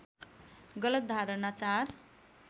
गलत धारणा ४